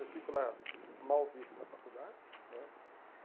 Eu fico lá mal visto na faculdade, né?